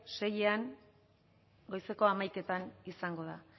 seian goizeko hamaikaetan izango da